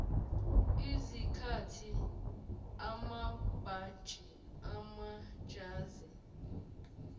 izikhethi amabhantshi amajazi